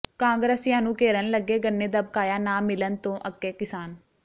ਕਾਂਗਰਸੀਆਂ ਨੂੰ ਘੇਰਨ ਲੱਗੇ ਗੰਨੇ ਦਾ ਬਕਾਇਆ ਨਾ ਮਿਲਣ ਤੋਂ ਅੱਕੇ ਕਿਸਾਨ